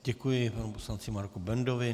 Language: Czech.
Děkuji panu poslanci Marku Bendovi.